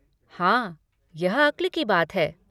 हाँ, यह अक्ल की बात है।